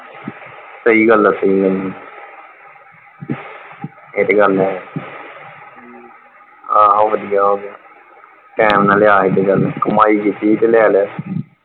ਸਹੀ ਗੱਲ ਆ ਸਹੀ ਗੱਲ ਇਹ ਤੇ ਗੱਲ ਹੈ, ਆਹੋ ਵਧੀਆ ਹੋਗਿਆ, ਟਾਈਮ ਨਾਲ ਲਿਆ ਸੀ ਤੇ ਚੱਲ ਕਮਾਈ ਕੀਤੀ ਸੀ ਤੇ ਲੈ ਲਿਆ।